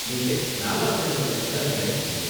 நீங்க நாலாவது லெவல் எம்ப்ளாயீயா இருப்பீங்க